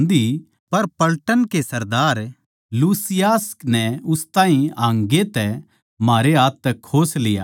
पर पलटन की सरदार लूसियास नै उस ताहीं हाँगै तै म्हारै हाथ तै खोस लिया